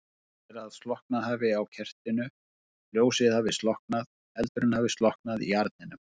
Sagt er að slokknað hafi á kertinu, ljósið hafi slokknað, eldurinn hafi slokknað í arninum.